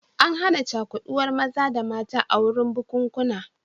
An hana cakuɗuwar maza da mata a wurin bukunkuna